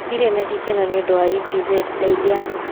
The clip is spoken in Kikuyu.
ndirĩ na gĩkeno nĩ ũndũ wa epz, ndeithia